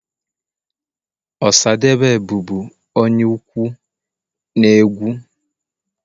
Osadebe bụbu onye ukwu na egwu.